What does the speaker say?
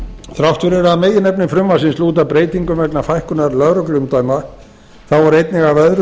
þrátt fyrir að meginefni frumvarpsins lúti að breytingum vegna fækkunar lögregluumdæma á eru einnig af öðru